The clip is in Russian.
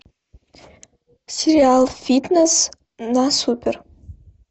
сериал фитнес на супер